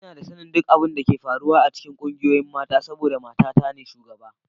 Ina da sanin duk abin da ke faruwa a cikin ƙungiyoyin mata saboda matana ce shugaba